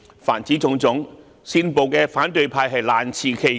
凡此種種，煽暴的反對派難辭其咎。